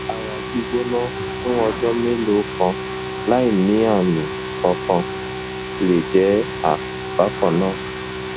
ara gbígbóná fún ọjọ́ mélòó kan láìní àmì kankan le je àrùn bákan náà